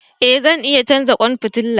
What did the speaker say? E zan iya canza kwan fitila.